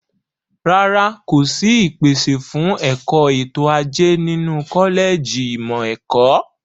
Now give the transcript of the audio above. Rárá, kò sí ìpèsè fún ẹ̀kọ́ ètò ajé nínú kọ́lẹ̀jì ìmọ̀ ẹ̀kọ́.